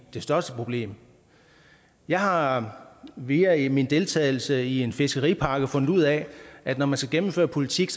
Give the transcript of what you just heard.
det største problem jeg har via min deltagelse i en fiskeripakke fundet ud af at når man skal gennemføre politik